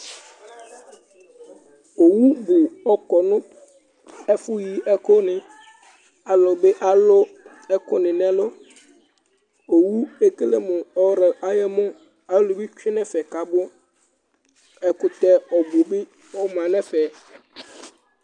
Owu bʋ ɔkɔ nʋ ɛfʋyi ɛkʋnɩ Alʋ bɩ alʋ ɛkʋnɩ nʋ ɛlʋ Owu ekele mʋ ɔr ayɔmɔ Alʋ bɩ tsue nʋ ɛfɛ kʋ abʋ Ɛkʋtɛ ɔbʋ bɩ ɔma nʋ ɛfɛ